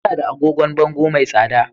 Muna da agogon bango mai tsada